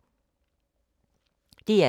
DR2